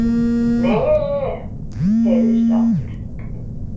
Meee, heyrðist aftur.